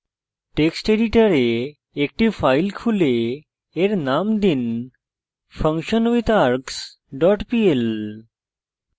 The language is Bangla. text editor একটি file খুলে এর name দিন functionwithargs dot pl